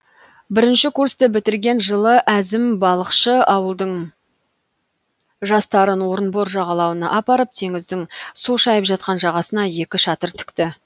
бірінші курсты бітірген жылы әзім балықшы ауылдың жастарын орынбор жағалауына апарып теңіздің су шайып жатқан жағасына екі шатыр тікті